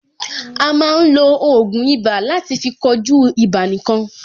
A máa ń lo ògùn ibà láti fí kojú ibà nìkan.